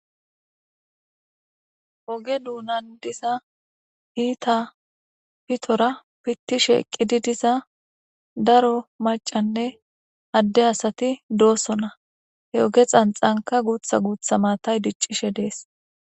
oge duunan diza iita pitora pittishe eqqidi diza daro macanne adde asati doosonna he oge xanxanka guutha guutha maatay diccishe dees